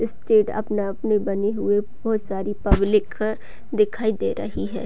Stage अपने-अपने बने हुए बहुत सारी पब्लिक दिखाई दे रही है।